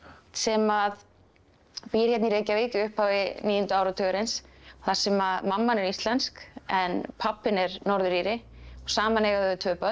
sem að býr hérna í Reykjavík í upphafi níunda áratugarins þar sem mamman er íslensk en pabbinn er Norður Íri og saman eiga þau tvö börn